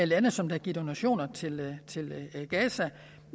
lande som har givet donationer til gaza